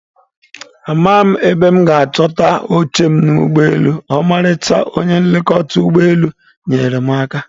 Amaghị m ebe m ga-achọta oche m n'ụgbọelu, ọmarịcha onye nlekọta ụgbọ elu nyeere m aka.